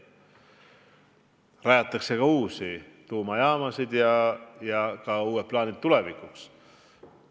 Rajatakse ka uusi tuumajaamasid, on uued plaanid tulevikuks.